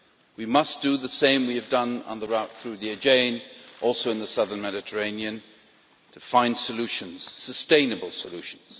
We must do the same we have done on the route through the Aegean also in the southern Mediterranean to find solutions, sustainable solutions.